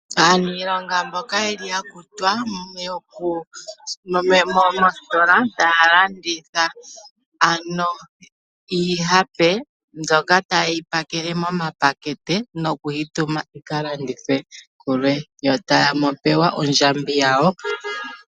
Aaniilonga mboka ye li ya kutwa moositola taya landitha ano iihape mbyoka taye yi pakele momapakete nokuyi tuma yi ka landithwe kulwe. Yo taya pewa ondjambi yawo.